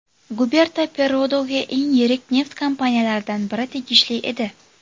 Guberta Perrodoga eng yirik neft kompaniyalaridan biri tegishli edi.